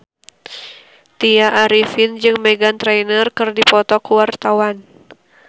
Tya Arifin jeung Meghan Trainor keur dipoto ku wartawan